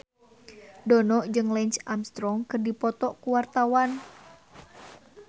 Dono jeung Lance Armstrong keur dipoto ku wartawan